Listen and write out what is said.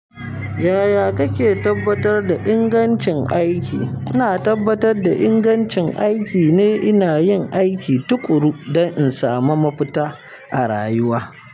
Yaya kake tabbatar da ingancin aiki? Ina tabbatar da ingancin aiki ne ina yin aiki tuƙuru, don in samu mafita a rayuwa.